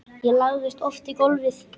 Ég lagðist oft í gólfið.